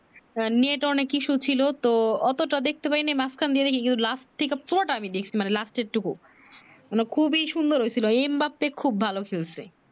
net অনেক issue ছিলো তো অতও টা সেখতে পারি নি মাঝ খানে ইয়ু লাস্ট থেকে পুরো টা আমি দেখছি লাস্টের টুকু মানে খুবি সুন্দর হইছিলো এম বাপ্পি খুব ভালো খেলছে